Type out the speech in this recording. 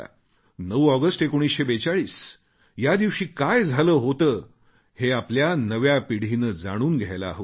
9 August 1942 या दिवशी काय झाले होते हे आपल्या नव्या पिढीने जाणून घ्यायला हवे